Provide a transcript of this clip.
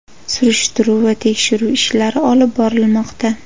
Surishtiruv va tekshiruv ishlari olib borilmoqda.